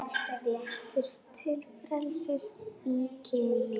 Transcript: Réttur til frelsis í kynlífi